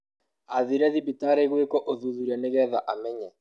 Athire thibitarĩ gwiko ũthuthuria nĩgetha emenye.